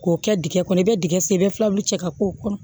K'o kɛ dingɛ kɔnɔ i bɛ dingɛ sen i bɛ filabɛ cɛ ka k'o kɔnɔ